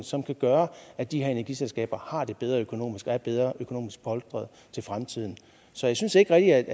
som kan gøre at de her energiselskaber har det bedre økonomisk og er bedre økonomisk polstrede til fremtiden så jeg synes ikke